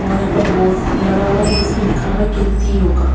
और यहाँ पर बोर्ड लगा हुआ है जिस पर लिखा हुआ है कीर्ति योगा।